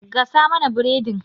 Gasa mana biredin!